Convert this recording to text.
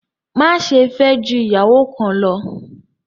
Máṣẹ̀ fẹ́ jù iyàwọ́ kán lọ̀!